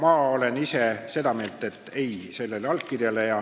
Aga ma olen ise seda meelt, et tuleks öelda ei sellele allkirjale.